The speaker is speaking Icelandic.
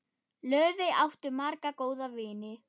Laufey átti marga góða vini.